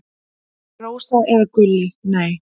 Rósa eða Gulli: Nei.